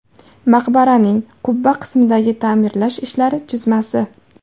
Maqbaraning qubba qismidagi ta’mirlash ishlari chizmasi.